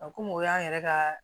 A komi o y'an yɛrɛ ka